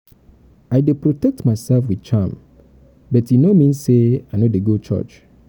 i dey protect myself with charm but um e no um mean say i no dey go church.